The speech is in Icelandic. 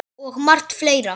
Og margt fleira.